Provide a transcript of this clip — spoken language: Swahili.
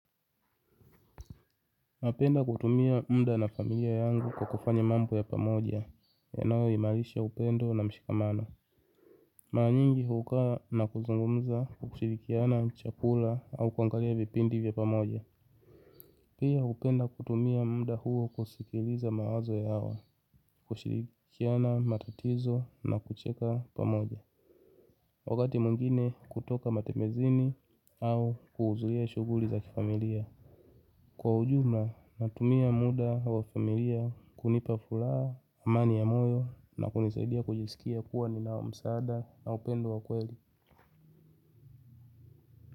Napenda kutumia muda na familia yangu kwa kufanya mambo ya pamoja yanayoimalisha upendo na mshikamano. Mara nyingi hukaa na kuzungumza kwa kushirikiana chakula au kuangalia vipindi vya pamoja. Pia hupenda kutumia muda huo kusikiliza mawazo yao, kushirikiana matatizo na kucheka pamoja. Wakati mwngine kutoka matembezini au kuhuzulia shuguli za kifamilia. Kwa ujuma natumia muda wa familia kunipa furaha, amani ya moyo na kunisaidia kujiskia kuwa nina msaada na upendo wa kweli.